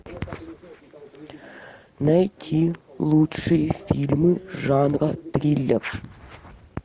найти лучшие фильмы жанра триллер